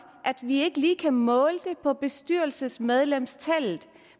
at vi ikke lige kan måle det på bestyrelsesmedlemstallet